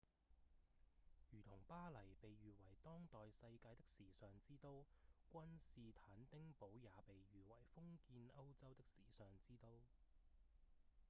如同巴黎被譽為當代世界的時尚之都君士坦丁堡也被譽為封建歐洲的時尚之都